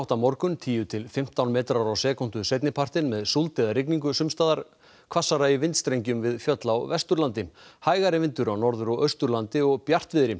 morgun tíu til fimmtán metrar á sekúndu seinnipartinn með súld eða rigningu sums staðar hvassara í vindstrengjum við fjöll á Vesturlandi hægari vindur á Norður og Austurlandi og bjartviðri